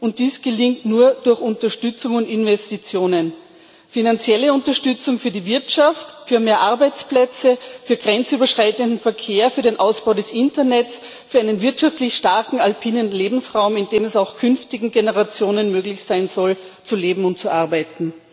Und dies gelingt nur durch Unterstützung und Investitionen finanzielle Unterstützung für die Wirtschaft, für mehr Arbeitsplätze, für grenzüberschreitenden Verkehr, für den Ausbau des Internets, für einen wirtschaftlich starken alpinen Lebensraum, in dem es auch künftigen Generationen möglich sein soll, zu leben und zu arbeiten.